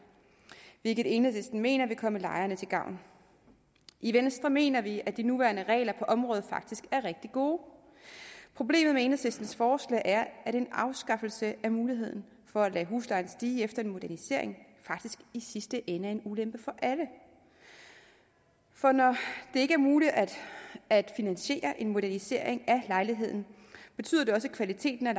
hvilket enhedslisten mener vil komme lejerne til gavn i venstre mener vi at de nuværende regler på området faktisk er rigtig gode problemet med enhedslistens forslag er at en afskaffelse af muligheden for at lade huslejen stige efter en modernisering faktisk i sidste ende er en ulempe for alle for når det ikke er muligt at at finansiere en modernisering af lejligheder betyder det også at kvaliteten af